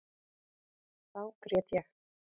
Þá grét ég.